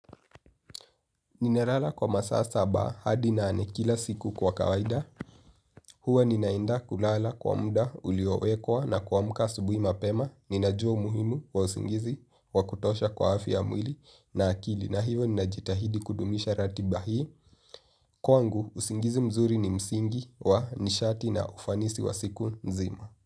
Nina lala kwa masaa saba hadi nane kila siku kwa kawaida, huwa ninaenda kulala kwa muda uliowekwa na kuamka asubuhi mapema, ninajua umuhimu wa usingizi wa kutosha kwa afya ya mwili na akili na hivo ninajitahidi kudumisha ratiba hii. Kwangu, usingizi mzuri ni msingi wa nishati na ufanisi wa siku nzima.